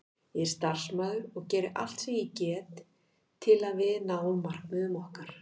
Ég er starfsmaður og geri allt sem ég get til að við náum markmiðum okkar.